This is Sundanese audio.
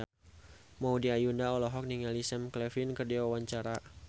Maudy Ayunda olohok ningali Sam Claflin keur diwawancara